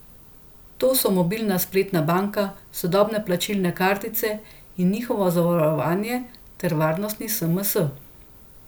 To so mobilna in spletna banka, sodobne plačilne kartice in njihovo zavarovanje ter varnostni sms.